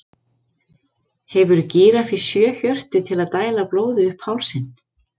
hefur gíraffi sjö hjörtu til að dæla blóði upp hálsinn